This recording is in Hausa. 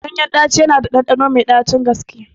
Ganyen ɗaci yana da ɗanɗano mai ɗacin gaske